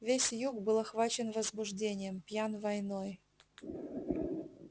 весь юг был охвачен возбуждением пьян войной